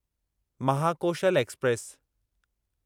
Mahakoshal express